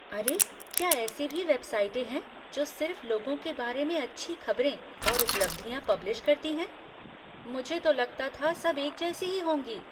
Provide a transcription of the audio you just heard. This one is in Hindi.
अरे, क्या ऐसी भी वेबसाइटें हैं जो सिर्फ लोगों के बारे में अच्छी खबरें और उपलब्धियाँ पब्लिश करती हैं? मुझे तो लगता था सब एक जैसी ही होंगी।